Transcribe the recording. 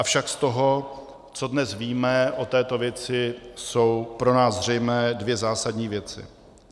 Avšak z toho, co dnes víme o této věci, jsou pro nás zřejmé dvě zásadní věci.